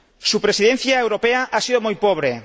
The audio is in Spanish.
Su Presidencia europea ha sido muy pobre.